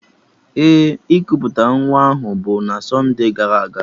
Ee, ikuputa nwa ahụ bụ na sonde gara aga